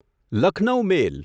Lucknow મેલ